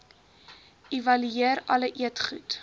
evalueer alle eetgoed